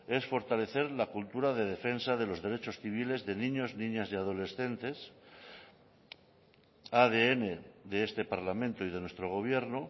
es fortalecer la cultura de defensa de los derechos civiles de niños niñas y adolescentes adn de este parlamento y de nuestro gobierno